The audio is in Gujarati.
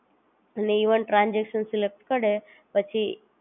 ફોનમાં GooglePay, PhonePe ચાલુ કર્યું છે